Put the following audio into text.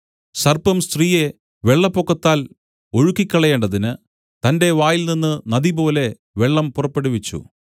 സർപ്പം സ്ത്രീയെ വെള്ളപ്പൊക്കത്താൽ ഒഴുക്കിക്കളയേണ്ടതിന് തന്റെ വായിൽനിന്നു നദിപോലെ വെള്ളം പുറപ്പെടുവിച്ചു